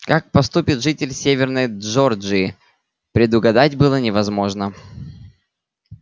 как поступит житель северной джорджии предугадать было невозможно